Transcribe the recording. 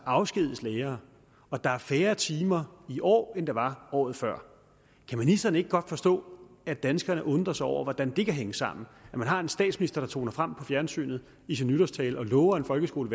afskediges lærere at der er færre timer i år end der var året før kan ministeren ikke godt forstå at danskerne undrer sig over hvordan det kan hænge sammen at man har en statsminister der toner frem på fjernsynet i sin nytårstale og lover en folkeskole